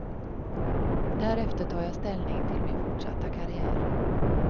Därefter tar jag ställning till min fortsatta karriär.